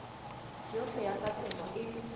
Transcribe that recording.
yohle ya tsa temo e